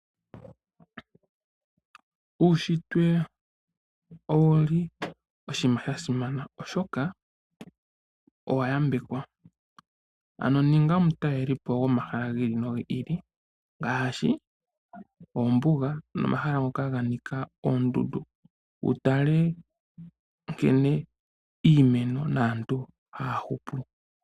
Uushitwe owo oshinima sha simana oshoka owa yambekwa. Ano ninga omutaleli po gomahala gi ili nogi ili ngaashi; ombuga nomahala ngoka ga nika oondundu, wu tale nkene iimeno naantu haya hupu.